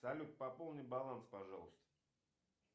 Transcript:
салют пополни баланс пожалуйста